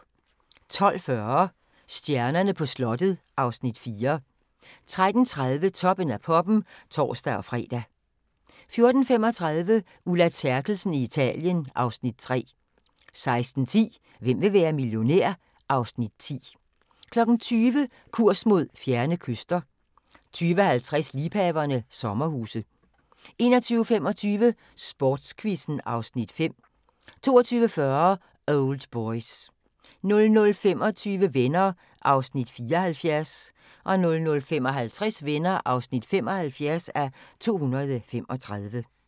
12:40: Stjernerne på slottet (Afs. 4) 13:30: Toppen af poppen (tor-fre) 14:35: Ulla Terkelsen i Italien (Afs. 3) 16:10: Hvem vil være millionær? (Afs. 10) 20:00: Kurs mod fjerne kyster 20:50: Liebhaverne – sommerhuse 21:25: Sportsquizzen (Afs. 5) 22:40: Old Boys 00:25: Venner (74:235) 00:55: Venner (75:235)